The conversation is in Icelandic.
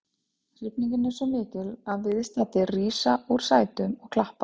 Hrifningin er svo mikil að viðstaddir rísa úr sætum og klappa.